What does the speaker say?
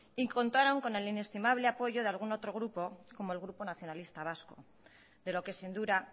y contaron con el estimable apoyo de algún otro grupo como el grupo nacionalista vasco de lo que sin duda